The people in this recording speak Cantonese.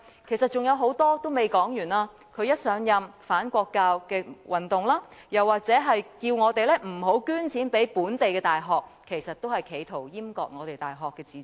其實還有很多事情尚未說完，他一上任便引起"反國教運動"，他又或叫我們不要捐錢予本地大學，其實亦是企圖閹割大學的自主。